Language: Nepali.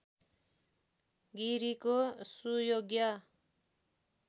गिरिको सुयोग्य